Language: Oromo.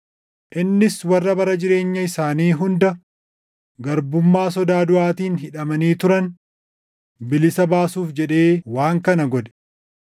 innis warra bara jireenya isaanii hunda garbummaa sodaa duʼaatiin hidhamanii turan bilisa baasuuf jedhee waan kana godhe.